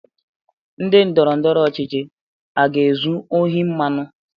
Ndị ndọrọndọrọ ọchịchị a ga-ezu ohi mmanụ mmanụ?